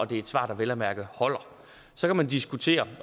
det er et svar der vel at mærke holder så kan man diskutere